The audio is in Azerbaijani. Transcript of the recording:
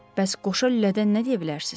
Bəs qoşa lülədən nə deyə bilərsiz?